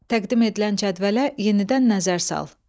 Təqdim edilən cədvələ yenidən nəzər sal.